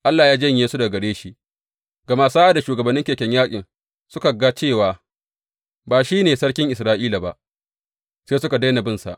Allah ya janye su daga gare shi, gama sa’ad da shugabannin keken yaƙi suka ga cewa ba shi ne sarkin Isra’ila ba, sai suka daina binsa.